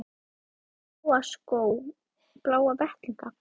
Áttu bláa skó, bláa vettlinga?